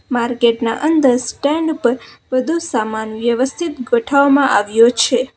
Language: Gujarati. માર્કેટ ના અંદર સ્ટેન્ડ ઉપર બધો સામાન વ્યવસ્થિત ગોઠવવામાં આવ્યો છે.